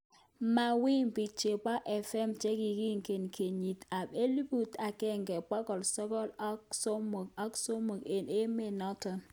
Mawimbi chebo FM chekikinget kenyit ab elibut akenge bokol sogol aksosom ak somok ik emet notok.